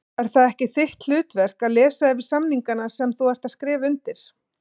Er það ekki þitt hlutverk að lesa yfir samningana sem þú ert að skrifa undir?